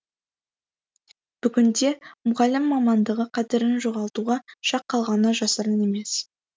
бүгінде мұғалім мамандығы қадірін жоғалтуға шақ қалғаны жасырын емес